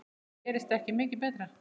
Þetta gerist ekki mikið betra.